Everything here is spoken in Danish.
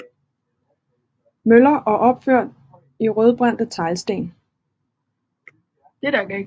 Møller og opført i rødbrændte teglsten